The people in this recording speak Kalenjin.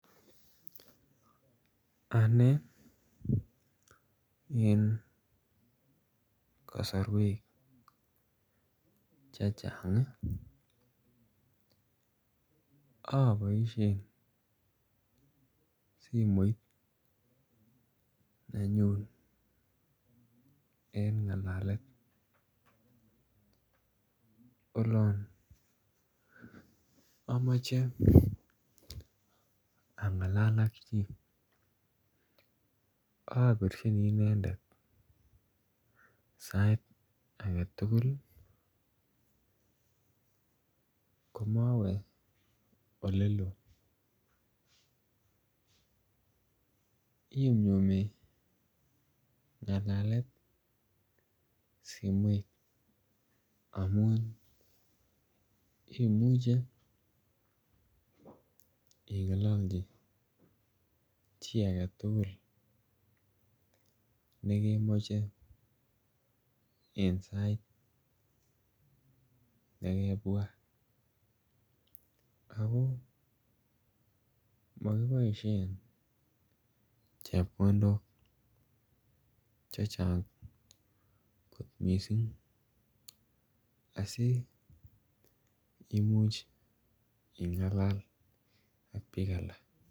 Anee en kosorwek chechang ii oboishen simoit nenyun en ngalalet olon omoche angalal ak chi obirjini inendet sait agetugul ii komowe ole loo. Inyumnyumi ngalalet simoit amun imuche ingololchi chi agetugul nekemoche en sait nekebwat ako mokiboishen chepkondok chechang missing asi imuch ingalal ak biik alak